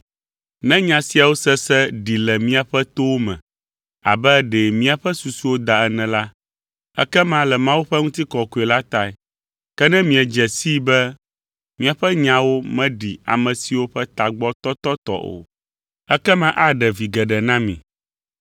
Ne nya siawo sese ɖi le miaƒe towo me abe ɖe míaƒe susuwo da ene la, ekema le Mawu ƒe ŋutikɔkɔe la tae. Ke ne miedze sii be míaƒe nyawo meɖi ame siwo ƒe tagbɔ tɔtɔ tɔ o la, ekema aɖe vi geɖe na mi.